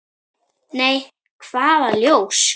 Nei, hvaða ljós?